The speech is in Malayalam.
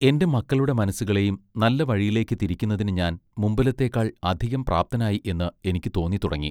എന്റെ മക്കളുടെ മനസ്സുകളെയും നല്ല വഴിയിലേക്ക് തിരിക്കുന്നതിന് ഞാൻ മുമ്പിലത്തേക്കാൾ അധികം പ്രാപ്തനായി എന്ന് എനിക്ക് തോന്നിത്തുടങ്ങി.